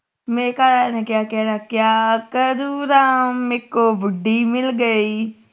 ਮੇਰੇ ਘਰਵਾਲੇ ਨੇ ਕਿਹਾ ਕਹਿਣਾ ਕਿਆ ਕਰੁ ਰਾਮ ਮੇਰੇ ਕੋ ਬੁੱਢੀ ਮਿਲ ਗਈ